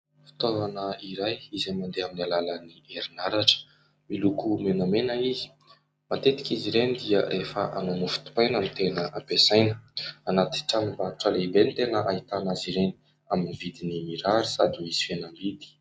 Fitaovana iray izay mandeha amin'ny alalan'ny herin'aratra, miloko menamena izy. Matetika izy ireny dia efa hanao mofo dipaina no tena ampiasaina ; anaty tranom-barotra lehibe no tena ahitana azy ireny, amin'ny vidiny mirary sady misy fihenam-bidy.